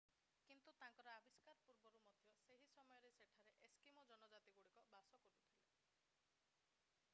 କିନ୍ତୁ ତାଙ୍କର ଆବିଷ୍କାର ପୂର୍ବରୁ ମଧ୍ୟ ସେହି ସମୟରେ ସେଠାରେ ଏସ୍କିମୋ ଜନଜାତିଗୁଡ଼ିକ ବାସ କରୁଥିଲେ